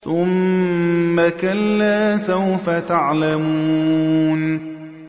ثُمَّ كَلَّا سَوْفَ تَعْلَمُونَ